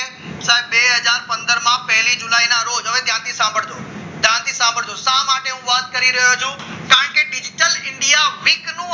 બે હજાર પંદર પહેલી જુલાઈના ના રોજ ત્યાંથી સાંભળજો ત્યાંથી સાંભળજો. શા માટે હું નોટ કરી રહ્યો છું કારણ કે digital ઇન્ડિયા વીક નું